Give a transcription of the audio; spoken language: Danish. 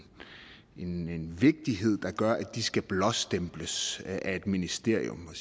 en vigtighed der gør at de skal blåstemples af et ministerium og